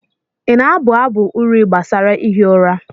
ị na-abụ abụ uri gbasara ihi ụra?